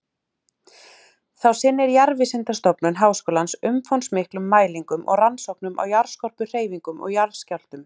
Þá sinnir Jarðvísindastofnun Háskólans umfangsmiklum mælingum og rannsóknum á jarðskorpuhreyfingum og jarðskjálftum.